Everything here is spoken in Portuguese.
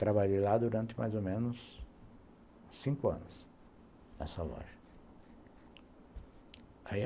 Trabalhei lá durante mais ou menos cinco anos, nessa loja.